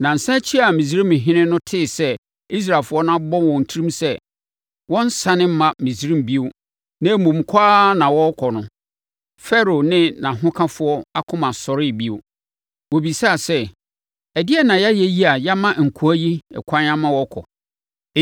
Nnansa akyi a Misraimhene no tee sɛ Israelfoɔ no abɔ wɔn tirim sɛ wɔrensane mma Misraim bio na mmom kɔ ara na wɔrekɔ no, Farao ne nʼahokafoɔ akoma sɔree bio. Wɔbisaa sɛ, “Ɛdeɛn na yɛayɛ yi a yɛama nkoa yi ɛkwan ama wɔkɔ?”